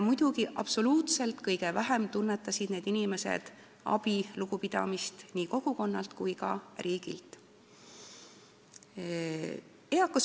Muidugi, absoluutselt kõige vähem tunnetasid need inimesed nii kogukonna kui ka riigi abi ja lugupidamist.